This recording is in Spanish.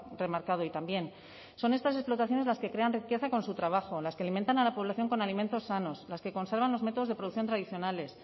remarcado hoy también son estas explotaciones las que crean riqueza con su trabajo las que alimentan a la población con alimentos sanos las que conservan los métodos de producción tradicionales